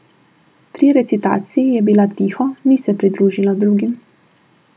Pri recitaciji je bila tiho, ni se pridružila drugim.